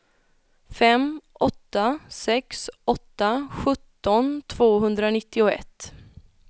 fem åtta sex åtta sjutton tvåhundranittioett